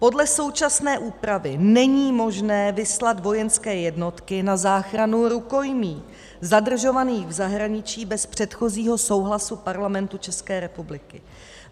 Podle současné úpravy není možné vyslat vojenské jednotky na záchranu rukojmí zadržovaných v zahraničí bez předchozího souhlasu Parlamentu České republiky.